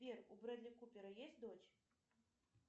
сбер у бредли купера есть дочь